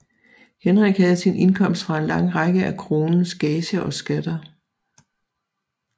Henrik havde sin indkomst fra en lang række af kronens gager og skatter